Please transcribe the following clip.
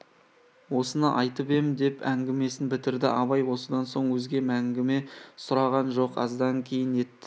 осыны айтып ем деп әңгімесін бітірді абай осыдан соң өзге әңгіме сұраған жоқ аздан кейін ет